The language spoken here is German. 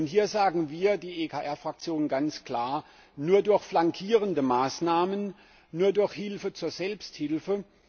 Hier sagen wir, die ECR Fraktion, ganz klar Nur durch flankierende Maßnahmen, nur durch Hilfe zur Selbsthilfe.